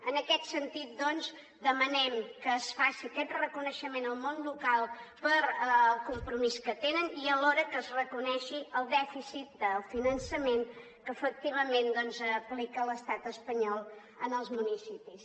en aquest sentit doncs demanem que es faci aquest reconeixement al món local pel compromís que tenen i alhora que es reconegui el dèficit del finançament que efectivament aplica l’estat espanyol als municipis